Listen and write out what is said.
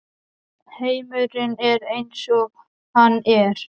Heimurinn er eins og hann er.